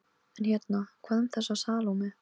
En hérna- hvað um þessa Salóme?